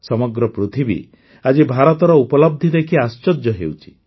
ସମଗ୍ର ପୃଥିବୀ ଆଜି ଭାରତର ଉପଲବ୍ଧି ଦେଖି ଆଶ୍ଚର୍ଯ୍ୟ ହେଉଛି